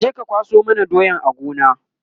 kaje ka kwaso mana doyan a Gona!